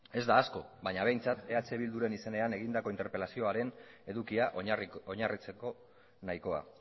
ez da asko baina behintzat eh bilduren izenean egindako interpelazioaren edukia oinarritzeko nahikoa